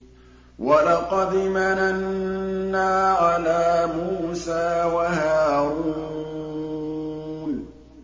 وَلَقَدْ مَنَنَّا عَلَىٰ مُوسَىٰ وَهَارُونَ